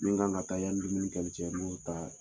Ni n kan ka taa yani ka n